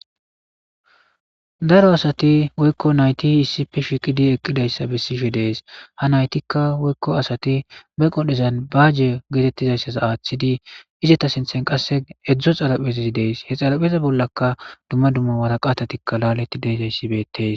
Daro asati woykko nayti hiisipi shikidi eqqidayssa bessishe dees ha naytikka woykko asati be qodhdhezan baaje geetettizayssas aaththidi izeta sinthen qasse edzdzo xalaphezzi dees he xalapheza bollaka dumma dumma wara qatatikka laaleti deezayssi betees.